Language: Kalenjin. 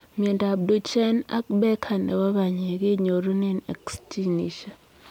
Miondoop Duchenne ak Becker nepoo panyek kenyorunee X ginisiek